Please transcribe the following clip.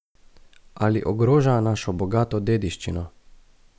Ali ogroža našo bogato dediščino?